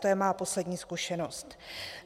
To je má poslední zkušenost.